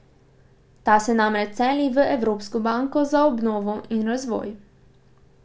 Ta se namreč seli v Evropsko banko za obnovo in razvoj.